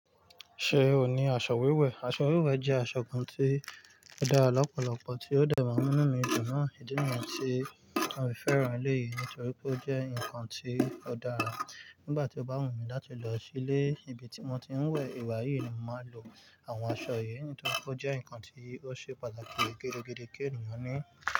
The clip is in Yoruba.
Ṣé o ní aṣọ wíwẹ̀? Aṣọ wíwẹ̀ jẹ́ aṣọ kan tí ó dára lọ́pọ̀lọpọ̀, tí ó dẹ̀ máa n'munú mì dùn náà ìdí mi àti mi fẹ́ràn eléyìí nítorí pé ó jẹ́ nǹkan tí ó dára. Nígbà tí o bá wù mí láti lọ sí ilé ibi tí wọ́n ti ń wẹ̀ ìwà yìí ni màá lo àwọn aṣọ yìí nítorí pé ó jẹ́ ǹkan tí ó ṣe pàtàkì gidi gan-an kí ènìyàn ní.